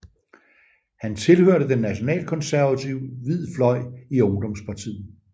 Han tilhørte den nationalkonservative Hvid Fløj i ungdomspartiet